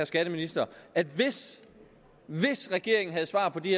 skatteministeren at hvis regeringen havde svar på de